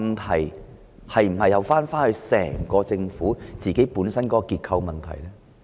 這是否又關乎整個政府的結構性問題呢？